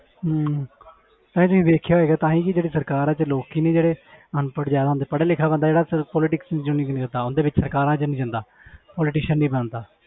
ਹਮ ਭਾਜੀ ਤੁਸੀਂ ਵੇਖਿਆ ਹੋਏਗਾ ਤਾਂ ਹੀ ਜਿਹੜੀ ਸਰਕਾਰ ਆ ਤੇ ਲੋਕੀ ਨੇ ਜਿਹੜੇ ਅਨਪੜ੍ਹ ਜ਼ਿਆਦਾ ਹੁੰਦੇ ਪੜ੍ਹਿਆ ਲਿਖਿਆ ਬੰਦਾ ਜਿਹੜਾ politics ਸਰਕਾਰਾਂ 'ਚ ਨੀ ਜਾਂਦਾ politician ਨੀ ਬਣਦਾ।